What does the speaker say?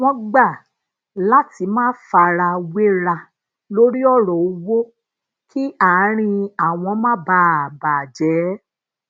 wón gbà lati ma farawera lori oro owo kí àárín àwọn má bàa bà jé